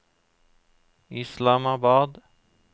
Islamabad